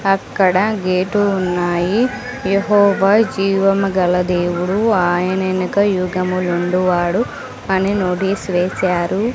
అక్కడ గేటు ఉన్నాయి యెహోవా జీవముగల దేవుడు ఆయన ఎనక యుగములుండు వాడు అని నోటీస్ వేశారు.